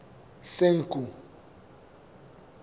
senqu